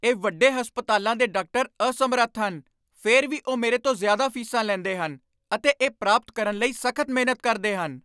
ਇਹ ਵੱਡੇ ਹਸਪਤਾਲਾਂ ਦੇ ਡਾਕਟਰ ਅਸਮਰੱਥ ਹਨ, ਫਿਰ ਵੀ ਉਹ ਮੇਰੇ ਤੋਂ ਜ਼ਿਆਦਾ ਫੀਸਾਂ ਲੈਂਦੇ ਹਨ ਅਤੇ ਇਹ ਪ੍ਰਾਪਤ ਕਰਨ ਲਈ ਸਖ਼ਤ ਮਿਹਨਤ ਕਰਦੇ ਹਨ।